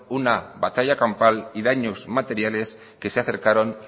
una batalla campal y daños materiales que se acercaron